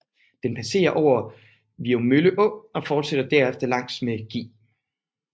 Den passere over Viummølle Å og forsætter derefter langs med Gl